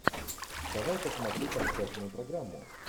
давай посмотрю концертную программу